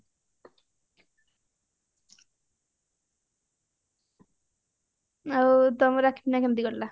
ଆଉ ତମର ରାକ୍ଷୀ ପୁନେଇଁ କେମତି କଟିଲା